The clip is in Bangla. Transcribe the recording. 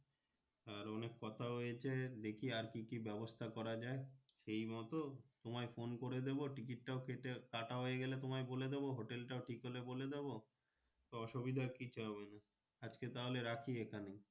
আর অনেক কথাও হয়েছে দেখি আর কি কি ব্যাবস্তা করা যায় সেই মতো তোমায় Phone করে দিবো Ticket কেটে কাটা হয়ে গেলে তোমায় বলে দিবো। Hotel ঠিক হলে বলে দেব অসুবিধা কিছু হবে না আজ কে তাহলে রাখি এখন।